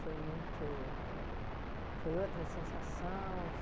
muito... Foi outra sensação?